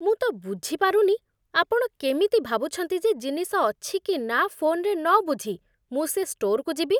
ମୁଁ ତ ବୁଝିପାରୁନି, ଆପଣ କେମିତି ଭାବୁଛନ୍ତି ଯେ ଜିନିଷ ଅଛି କି ନା ଫୋନ୍‌ରେ ନ ବୁଝି ମୁଁ ସେ ଷ୍ଟୋର୍‌କୁ ଯିବି!